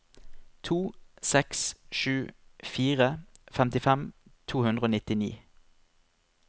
to seks sju fire femtifem to hundre og nittini